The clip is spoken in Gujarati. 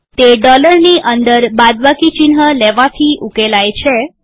તે ડોલરની અંદર બાદબાકી ચિહ્ન લેવાથી ઉકેલાય છે